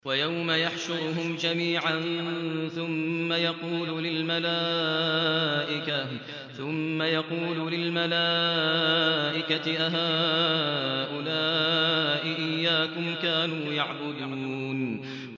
وَيَوْمَ يَحْشُرُهُمْ جَمِيعًا ثُمَّ يَقُولُ لِلْمَلَائِكَةِ أَهَٰؤُلَاءِ إِيَّاكُمْ كَانُوا يَعْبُدُونَ